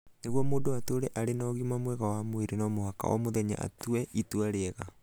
Nĩguo mũndũ atũũre arĩ na ũgima mwega wa mwĩrĩ no mũhaka o mũthenya atue itua rĩega.